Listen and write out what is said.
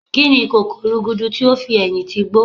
Kíni ìkòkò rúgúdú ti ó fi ẹ̀yìn ti igbó?